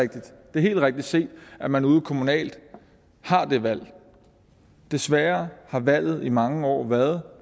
det er helt rigtigt set at man ude kommunalt har det valg desværre har valget i mange år været